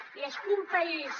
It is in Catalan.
i és que un país